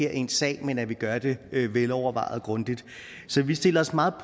er en sag men at vi gør det velovervejet og grundigt så vi stiller os meget